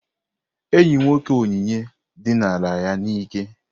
Enyi nwoke Onyinye dinara ya n'ike.